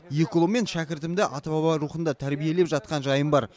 екі ұлым мен шәкіртімді ата баба рухында тәрбиелеп жатқан жайым бар